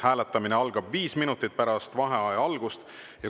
Hääletamine algab viis minutit pärast vaheaja algust.